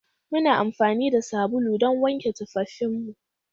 Muna amfani da sabulu don wanke tufafinmu